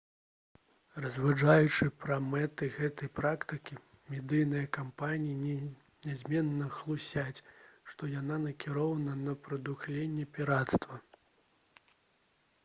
разважаючы пра мэты гэтай практыкі медыйныя кампаніі нязменна хлусяць што яна накіравана на «прадухіленне пірацтва»